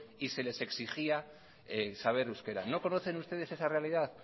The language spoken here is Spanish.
y les exigía saber euskera no conocen ustedes esa realidad